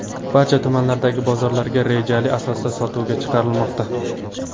Barcha tumanlardagi bozorlarga rejali asosida sotuvga chiqarilmoqda.